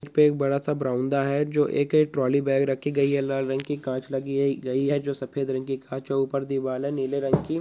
उसपे एक बड़ा सा ब्रोनदा है जो एक एक ट्रोली बैग रखी गयी है लाल रंग की कांच लगी है-गयी है जो सफ़ेद रंग की कांच है ऊपर दीवार है नीले रंग की।